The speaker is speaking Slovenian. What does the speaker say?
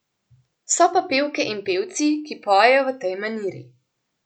So pa pevke in pevci, ki pojejo v tej maniri.